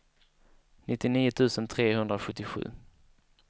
nittionio tusen trehundrasjuttiosju